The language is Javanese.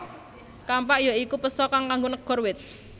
Kampak ya iku péso kang kanggo negor wit